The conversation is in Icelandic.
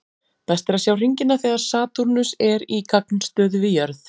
Best er að sjá hringina þegar Satúrnus er í gagnstöðu við jörð.